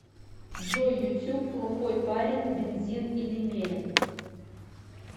джой ютюб плохойпарен бензин или мерин